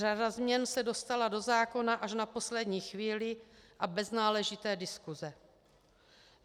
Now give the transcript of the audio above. Řada změn se dostala do zákona až na poslední chvíli a bez náležité diskuse.